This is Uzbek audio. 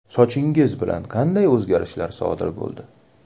Sochingiz bilan qanday o‘zgarishlar sodir bo‘ldi?